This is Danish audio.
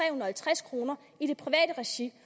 og halvtreds kroner i privat regi